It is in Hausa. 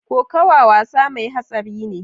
Kokawa wasa mai hatsari ne.